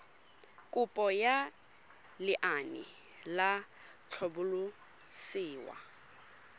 kopo ya lenaane la tlhabololosewa